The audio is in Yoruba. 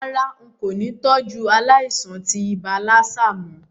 Rárá, n kò ni tọ́jú aláìsàn tí ibà lassa mó